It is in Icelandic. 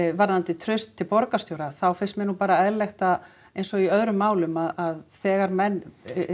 varðandi traust til borgarstjóra þá finnst mér nú bara eðlilegt eins og í öðrum málum að þegar menn